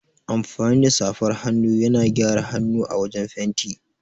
Amfani da safar hannu yana gyara hanu a wajan fenti.